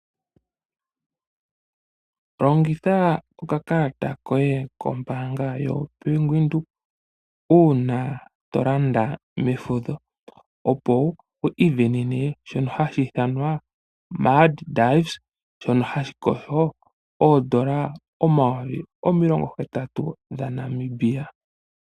Longitha okakalata koye kombanga yobank windhoek uuna to landa mefudho opo wu isindanene shono hashi ithanwa maidives shono shongushu oodola omayovi omilongo hetatu dhaNamibia.